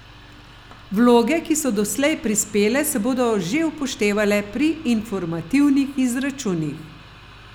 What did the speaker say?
Vloge, ki so doslej prispele, se bodo že upoštevale pri informativnih izračunih.